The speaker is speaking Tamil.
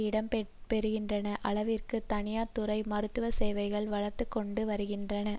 இடம் பெறுகின்ற அளவிற்கு தனியார் துறை மருத்துவ சேவைகள் வளர்ந்துகொண்டு வருகின்றன